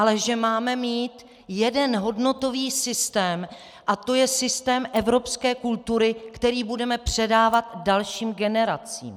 Ale že máme mít jeden hodnotový systém a to je systém evropské kultury, který budeme předávat dalším generacím.